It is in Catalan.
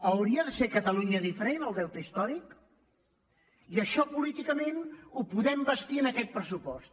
hauria de ser a catalu·nya diferent el deute històric i això políticament ho podem bastir amb aquest pressupost